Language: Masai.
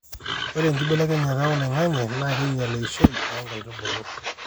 ore enkibelekenyata oloing'ang'e naa keinyial eishoi onkaitubulu